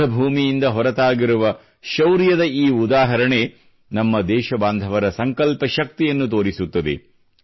ಯುದ್ಧ ಭೂಮಿಯಿಂದ ಹೊರತಾಗಿರುವ ಶೌರ್ಯದ ಈ ಉದಾಹರಣೆ ನಮ್ಮ ದೇಶಬಾಂಧವರ ಸಂಕಲ್ಪ ಶಕ್ತಿಯನ್ನು ತೋರಿಸುತ್ತದೆ